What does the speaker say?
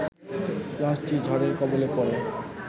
লঞ্চটি ঝড়ের কবলে পড়ে